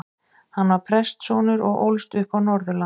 Hann var prestssonur og ólst upp á Norðurlandi.